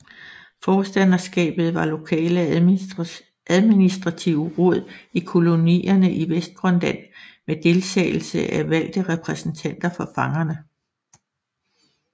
Forstanderskaber var lokale administrative råd i kolonierne i Vestgrønland med deltagelse af valgte repræsentanter for fangerne